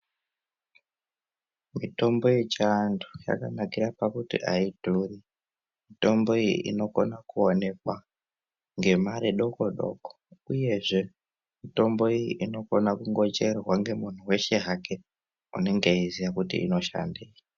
Mitombo yechiantu yakanakira pakuti aidhuri. Mitombo iyi inokona kuonekwa ngemare doko-doko uyezve mitombo iyi inokona kungocherwa ngemuntu weshe hake unenge eiziya kuti inoshandei.